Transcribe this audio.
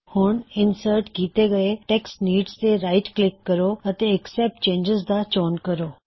ਹੁਣ ਇੰਸਰਟ ਕੀਤੇ ਹੋਏ ਟੈੱਕਸਟ ਨੀਡਜ਼ ਤੇ ਰਾਇਟ ਕਲਿੱਕ ਕਰੋ ਅਤੇ ਅਕਸੈਪਟ ਚੇਨਜਿਜ਼ ਦਾ ਚੋਣ ਕਰੋ